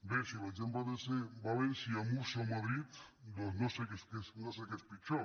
bé si l’exemple ha de ser valència múrcia o madrid doncs no sé què és pitjor